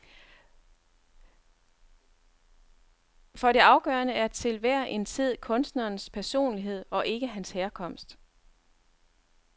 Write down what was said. For det afgørende er til hver en tid kunstnerens personlighed, og ikke hans herkomst.